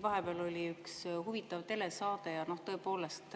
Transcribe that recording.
Vahepeal oli üks huvitav telesaade ja tõepoolest